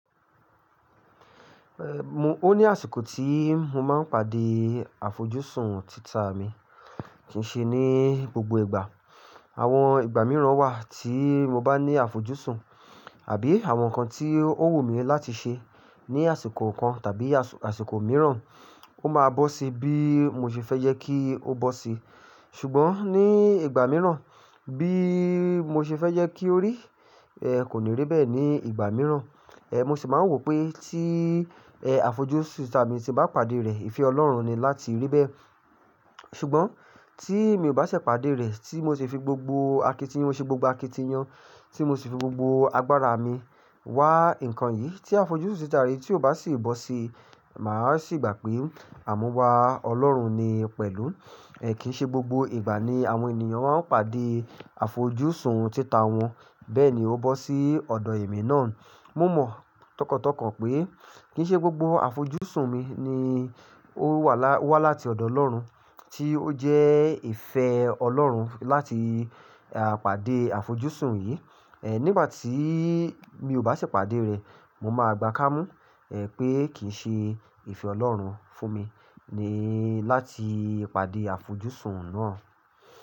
Ehn, o ní àsìkò tí mo máa ń pàdé àfojúsùn títà mi, kì í ṣe ní gbogbo ìgbà. Àwọn ìgbà mìíràn wà tí mo bá ní àfojúsùn àbí àwọn nǹkan tí ó wù mí láti ṣe ní àsìkò kan tàbí àsìkò mìíràn, ó máa bọ́ sí bí mo ṣe fẹ́ yẹ kí ó bọ́ sí. Ṣùgbọ́n ní ìgbà mìíràn bí mo ṣe fẹ́ yẹ kí ó rí, eh, kò ní rí bẹ́ẹ̀ ní ìgbà mìíràn. Eh, mo sì máa ń wò pé tí, eh, àfojúsùn títà mi ti bá pàdé rẹ̀, ìfẹ́ Ọlọ́run ni láti rí bẹ́ẹ̀. Ṣùgbọ́n tí mi ò bá ṣẹ̀ pàdé rẹ̀ tí mo ti fi gbogbo akitiyan, mo ṣe gbogbo akitiyan tí mo sì fi gbogbo agbára mi wá nǹkan yìí tí àfojúsùn títà rẹ̀ tí ò bá sì bọ́ sí, màá sì gbà pé àmúwa Ọlọ́run ni pẹ̀lú. Eh, kì í ṣe gbogbo ìgbà ni àwọn ènìyàn máa ń pàdé àfojúsùn títà wọn. Bẹ́ẹ̀ ni ó bọ́ sí ọ̀dọ̀ èmi náà. Mo mọ̀ tọkàntọkàn pé kì í ṣe gbogbo àfojúsùn mi ni ó wá láti ọ̀dọ̀ Ọlọ́run tí ó jẹ́ ìfẹ́ Ọlọ́run láti, à, pàdé àfojúsùn yìí. Eh, nígbà tí mi ò bá ṣẹ̀ pàdé rẹ̀, mo máa gbá kámú, eh, pé kì í ṣe ìfẹ́ Ọlọ́run fún mi ni láti pàdé àfojúsùn náà.